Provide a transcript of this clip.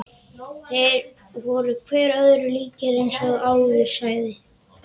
Þeir voru hver öðrum líkir eins og áður sagði.